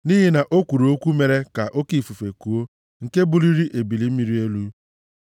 Nʼihi na o kwuru okwu mere ka oke ifufe kuo nke buliri ebili mmiri elu.